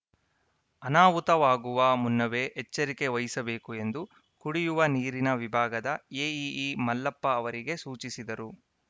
ಅನಾಹುತವಾಗುವ ಮುನ್ನವೇ ಎಚ್ಚರಿಕೆ ವಹಿಸಬೇಕು ಎಂದು ಕುಡಿಯುವ ನೀರಿನ ವಿಭಾಗದ ಎಇಇ ಮಲ್ಲಪ್ಪ ಅವರಿಗೆ ಸೂಚಿಸಿದರು